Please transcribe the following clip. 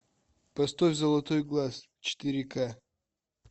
поставь золотой глаз четыре ка